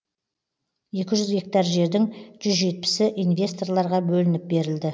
екі жүз гектар жердің жүз жетпісі инвесторларға бөлініп берілді